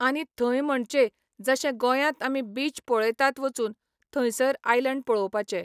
आनी थंय म्हणचे जशे गोंयांत आमी बीच पळयतात वचून, थंयसर आयलॅंड पळोवपाचें.